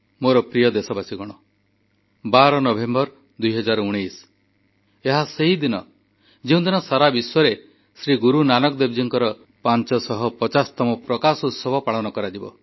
ମୋର ପ୍ରିୟ ଦେଶବାସୀ 12 ନଭେମ୍ବର 2019 ଏହା ସେହିଦିନ ଯେଉଁଦିନ ସାରା ବିଶ୍ୱରେ ଶ୍ରୀ ଗୁରୁ ନାନକ ଦେବଜୀଙ୍କର 550ତମ ପ୍ରକାଶ ଉତ୍ସବ ପାଳନ କରାଯିବ